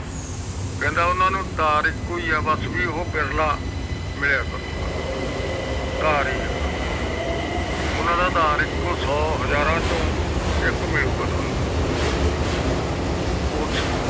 ਕਹਿੰਦਾ ਓਹਨਾ ਨੂੰ ਤਾਰ ਇਕੋ ਏ ਆ ਬਸ ਵੀ ਓਹੋ ਬਿਰਲਾ ਮਿਲਿਆ ਕਰੁਗਾ ਆਧਾਰ ਹੀ ਆ ਓਹਨਾ ਦਾ ਓਹਨਾ ਦਾ ਆਧਾਰ ਇਹੋ ਸੌ ਹਾਜਰਾ ਚੋ ਇਕ ਮਿਲੂਗਾ ਠਉਣੁ ਉਸ